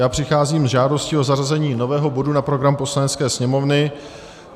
Já přicházím s žádostí o zařazení nového bodu na program Poslanecké sněmovny.